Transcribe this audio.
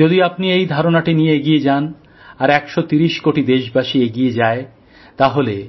যদি আপনি এই ধারণাটি নিয়ে এগিয়ে যান আর ১৩০ কোটি দেশবাসী এগিয়ে যায় তবেই